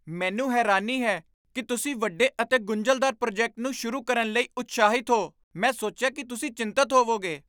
ਮੈਨੂੰ ਹੈਰਾਨੀ ਹੈ ਕਿ ਤੁਸੀਂ ਵੱਡੇ ਅਤੇ ਗੁੰਝਲਦਾਰ ਪ੍ਰੋਜੈਕਟ ਨੂੰ ਸ਼ੁਰੂ ਕਰਨ ਲਈ ਉਤਸ਼ਾਹਿਤ ਹੋ? ਮੈਂ ਸੋਚਿਆ ਕਿ ਤੁਸੀਂ ਚਿੰਤਤ ਹੋਵੋਗੇ।